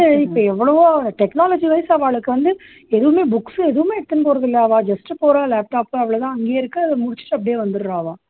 இப்போ எவ்வளவோ technology vice அவாளுக்கு வந்து எதுவுமே books எதுவுமே எடுத்துன்னு போறதுல்ல அவா just போறா laptop அவ்ளோ தான் அங்கயே இருக்கு முடிச்சுட்டு அப்படியே வந்துர்றா அவா